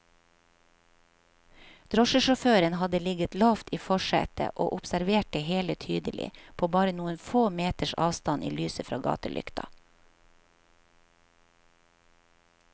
Drosjesjåføren hadde ligget lavt i forsetet og observert det hele tydelig, på bare noen få meters avstand i lyset fra gatelykta.